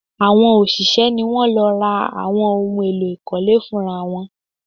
Àwọn òṣìṣẹ́ ni wọ́n lọ ra àwọn ohun èlò ìkọ́lé fún ra wọn